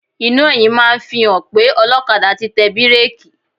Iná ẹ̀yìn máa ń fi hàn pé ọlọ́kadà ti tẹ bíréèkì.